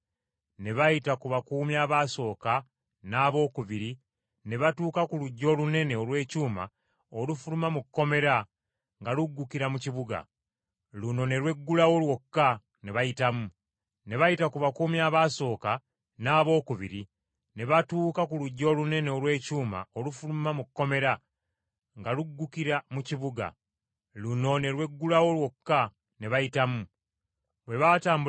Ne bayita ku bakuumi abasooka n’abookubiri ne batuuka ku luggi olunene olw’ekyuma olufuluma mu kkomera nga luggukira mu kibuga. Luno ne lweggulawo lwokka, ne bayitamu. Bwe baatambulako akabanga mu luguudo mu kibuga, amangwago malayika n’amuleka.